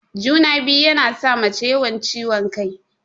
Juna-biyu yana sa mace yawan ciwon kai.